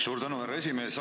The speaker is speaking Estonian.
Suur tänu, härra esimees!